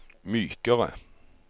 mykere